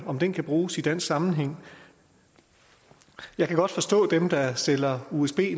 om den kan bruges i dansk sammenhæng jeg kan godt forstå at dem der sælger usb